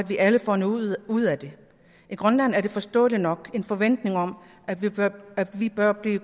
vi alle får noget ud af det i grønland er der forståeligt nok en forventning om at vi bør blive